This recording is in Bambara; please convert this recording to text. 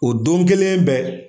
O don kelen bɛɛ.